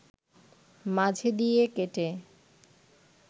মাঝে দিয়ে কেটে